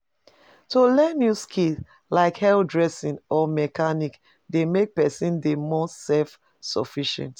To learn new skills, like hairdressing or mechanics dey make pesin dey more self-sufficient.